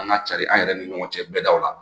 An ka carin an yɛrɛ ni ɲɔgɔn cɛ bɛ daw la